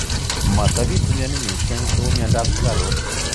Matapitu mioni mising kou miondop sukaruk.